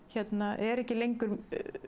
er ekki lengur